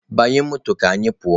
Banyenụ moto ka anyị pụọ!